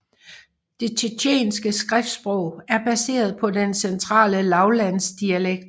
Det tjetjenske skriftsprog er baseret på den centrale lavlandsdialekt